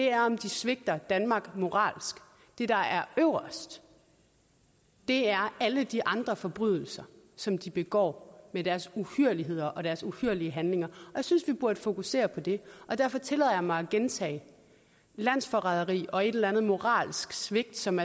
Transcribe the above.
er om de svigter danmark moralsk det der er øverst er alle de andre forbrydelser som de begår med deres uhyrligheder og deres uhyrlige handlinger jeg synes vi burde fokusere på det og derfor tillader jeg mig at gentage landsforræderi og et eller andet moralsk svigt som